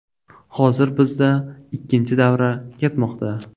Hozir bizda ikkinchi davra ketmoqda.